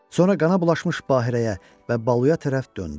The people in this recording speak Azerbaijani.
Sonra qana bulaşmış Bahirəyə və Baluya tərəf döndü.